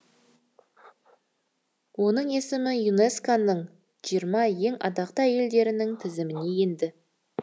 оның есімі юнеско ның жиырма ең атақты әйелдерінің тізіміне енді